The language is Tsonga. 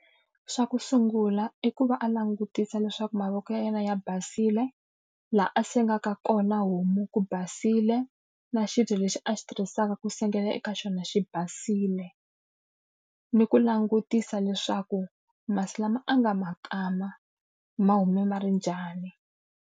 Xa ku sungula i ku va a langutisa leswaku mavoko ya yena ya basile, laha a sengeka kona homu ku basile, na xibye lexi a xi tirhisaka ku sengela eka xona xi basile. Ni ku langutisa leswaku masi lama a nga ma kama, ma hume ma ri njhani.